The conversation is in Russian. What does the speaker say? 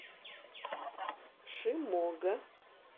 шимога